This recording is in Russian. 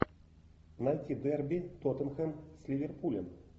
найти дерби тоттенхэм с ливерпулем